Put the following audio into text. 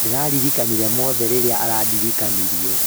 ndĩraririkanire mothe rĩrĩa adirikania